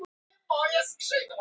Þú ert forvitinn.